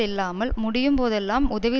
இல்லாமல் முடியும் போதெல்லாம் உதவி